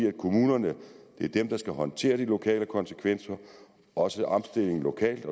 er kommunerne der skal håndtere de lokale konsekvenser og også omstillingen lokalt